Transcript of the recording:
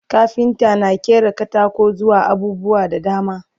kafinta na ƙera katako zuwa abubuwa da dama